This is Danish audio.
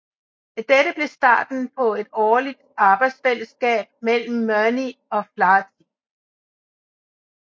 Dette blev starten på et dårligt arbejdsfælleskab mellem Murnay og Flaherty